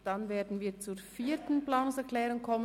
Danach kommen wir zur vierten Planungserklärung.